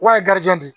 Wa de